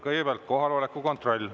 Kõigepealt kohaloleku kontroll.